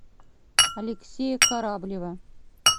алексея кораблева